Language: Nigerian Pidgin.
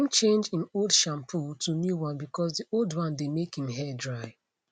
im change im old shampoo to new one bcause di old one dey make im hair dry